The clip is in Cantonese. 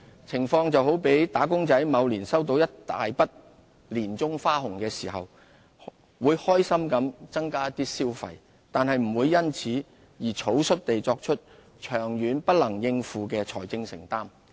情況就好比"打工仔"某年收到一筆大額的年終花紅時，會開心地增加一點消費，但不會因此而草率地作出長遠不能應付的財政承擔。